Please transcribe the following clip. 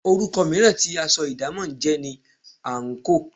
Orúkọ mìíràn tí aṣọ idamo jẹ́ ni àńkò.